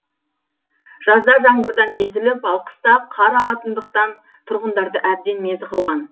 жазда жаңбырдан езіліп ал қыста қар ағатындықтан тұрғындарды әбден мезі қылған